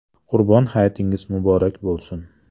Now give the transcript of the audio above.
Qurbon hayitingiz muborak bo‘lsin!